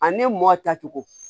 Ani mɔ tacogo